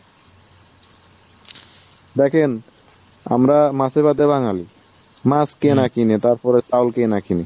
দেখেন আমরা মাছে ভাতে বাঙালি। মাছ কেনে ? তারপরে চাল কে না কেনে ?